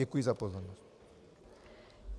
Děkuji za pozornost.